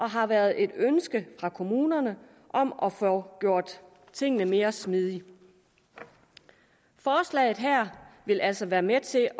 har været et ønske fra kommunerne om at få gjort tingene mere smidige forslaget her vil altså være med til